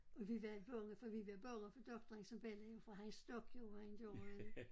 Og vi var bange for vi var bange for doktoren som belli jo for han stank jo rent af røg